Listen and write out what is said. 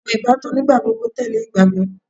awọn ibatan nigbagbogbo tẹle igbagbọ